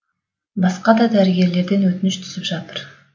басқа да дәрігерлерден өтініш түсіп жатыр